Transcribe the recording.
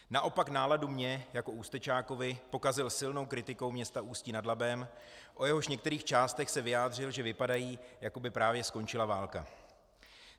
Naopak náladu mně jako Ústečákovi pokazil silnou kritikou města Ústí nad Labem, o jehož některých částech se vyjádřil, že vypadají, jako by právě skončila válka.